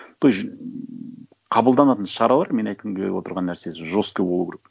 то есть қабылданатын шаралар менің айтқым келіп отырған нәрсесі жестко болу керек